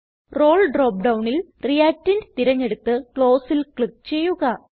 role drop ഡൌണിൽ reactant തിരഞ്ഞെടുത്ത് Closeൽ ക്ലിക്ക് ചെയ്യുക